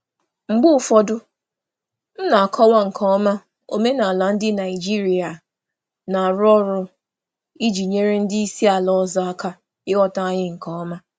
Mgbe ụfọdụ, ana m akọwa omenala ọrụ Naịjirịa nke ọma iji nyere ndị oga si mba ọzọ aka ịghọta anyị nke ọma.